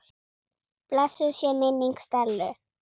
Blessuð sé minning Stellu.